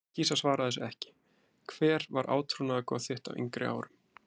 kýs að svara þessu ekki Hver var átrúnaðargoð þitt á yngri árum?